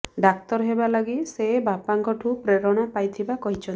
ଡାକ୍ତର ହେବା ଲାଗି ସେ ବାପାଙ୍କଠୁ ପ୍ରେରଣା ପାଇଥିବା କହିଛନ୍ତି